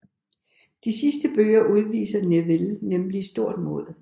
I de sidste bøger udviser Neville nemlig stort mod